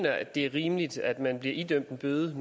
at det er rimeligt at man bliver idømt en bøde